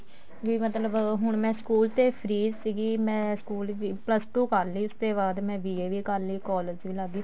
ਵੀ ਮਤਲਬ ਹੁਣ ਮੈਂ ਸਕੂਲ ਦੇ free ਸੀਗੀ ਮੈਂ ਸਕੂਲ plus two ਕਰਲੀ ਸੀ ਉਸ ਤੇ ਬਾਅਦ ਮੈਂ BA ਵੀ ਕਰਲੀ collage ਵੀ ਲੱਗ ਗਈ